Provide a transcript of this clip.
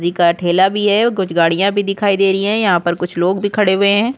लकड़ी का ठेला भी है और कुछ गाड़िया भी दिखाई दे रही है यहाँ पर कुछ लोग भी खड़े हुए है।